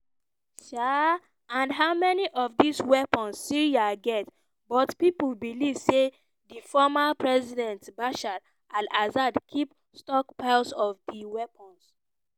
um and how many of dis weapons syria get but pipo believe say di former president bashar al-assad keep stockpiles of di weapons.